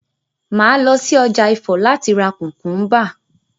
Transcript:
Màá lọ si ọjà Ifọ̀ láti ra kùkúnbà